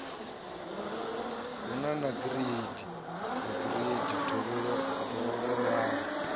a hu nagireidi yeai dovhololau